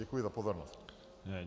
Děkuji za pozornost.